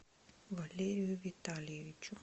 валерию витальевичу